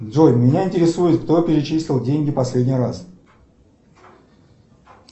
джой меня интересует кто перечислил деньги в последний раз